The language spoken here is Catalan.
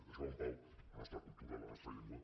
deixeu en pau la nostra cultura la nostra llengua